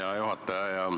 Hea juhataja!